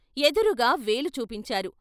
ఎదురుగా వేలు చూపించారు.